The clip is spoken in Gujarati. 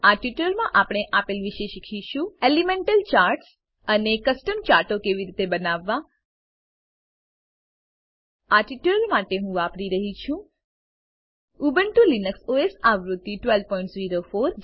આ ટ્યુટોરીયલમાં આપણે આપેલ વિશે શીખીશું એલિમેન્ટલ ચાર્ટ્સ એલીમેન્ટલ ચાર્ટ્સ અને કસ્ટમ ચાર્ટો કેવી રીતે બનાવવા આ ટ્યુટોરીયલ માટે હું વાપરી રહ્યી છું ઉબુન્ટુ લિનક્સ ઓએસ આવૃત્તિ 1204